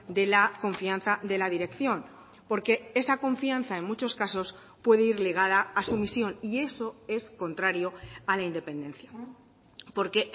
de la confianza de la dirección porque esa confianza en muchos casos puede ir ligada a sumisión y eso es contrario a la independencia porque